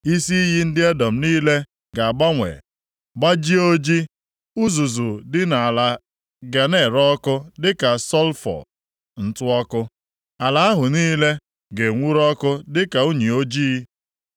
Isi iyi ndị Edọm niile ga-agbanwe gbajie ojii, uzuzu dị nʼala ga na-ere ọkụ dịka sọlfọ (ntụ ọkụ), ala ahụ niile ga-enwuru ọkụ dị ka unyi ojii.